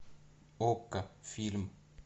окко фильм